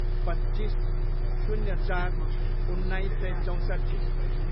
पच्चिस, शून्य चार, उन्नाइस सय चौँसट्ठी